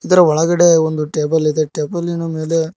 ಅಂದ್ರೆ ಒಳಗಡೆ ಒಂದು ಟೇಬಲ್ ಇದೆ ಟೇಬಲ್ಲಿನ ಮೇಲೆ--